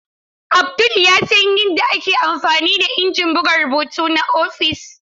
Abdul ya san yadda ake amfani da injin buga rubutu na ofis.